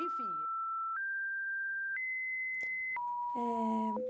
Enfim. Eh